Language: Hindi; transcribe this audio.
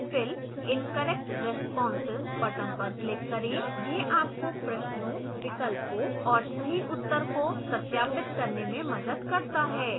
fill in correct responses button पर click करें